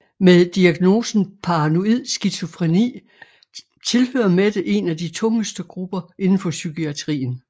Med diagnosen paranoid skizofreni tilhører Mette en af de tungeste grupper inden for psykiatrien